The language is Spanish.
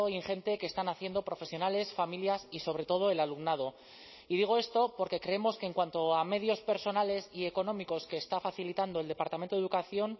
ingente que están haciendo profesionales familias y sobre todo el alumnado y digo esto porque creemos que en cuanto a medios personales y económicos que está facilitando el departamento de educación